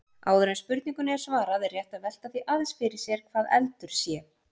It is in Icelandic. Áður en spurningunni er svarað er rétt að velta því aðeins sér hvað eldur sé.